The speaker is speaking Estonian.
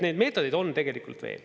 Neid meetodeid on tegelikult veel.